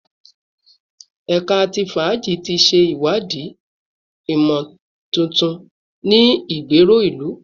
Ẹka ti faaji ti ṣe iwadii imotuntun ni igbero ilu